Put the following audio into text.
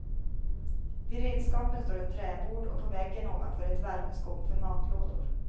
Vid redskapen står ett träbord och på väggen ovanför ett värmeskåp för matlådor.